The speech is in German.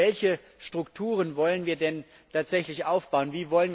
Also Welche Strukturen wollen wir denn tatsächlich aufbauen?